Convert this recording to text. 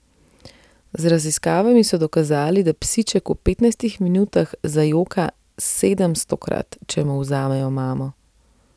Z raziskavami so dokazali, da psiček v petnajstih minutah zajoka sedemstokrat, če mu vzamejo mamo.